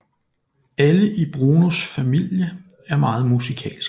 Alle i Brunos familie er meget musikalske